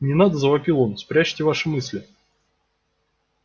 не надо завопил он спрячьте ваши мысли